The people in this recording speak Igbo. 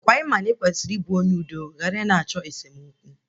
Ọkwa ị ma na ị kwesịrị ị bụ onye udo ghara ị na-achọ esemokwu?